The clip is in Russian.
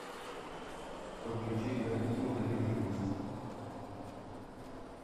подключи картину одержимость